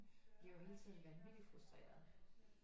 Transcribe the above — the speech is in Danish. Bliver jo hele tiden vanvittig frustreret